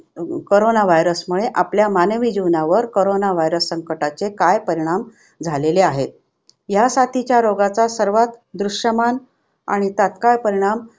Corona virus मुळे आपल्या मानवी जीवनावर करोना virus संकटाचे काय परिणाम झालेले आहेत. ह्यासाठीच्या रोगाचा सर्वात दृष्यमान आणि तात्काळ परिणाम